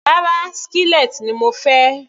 Rárá, skillet ni mo pèé.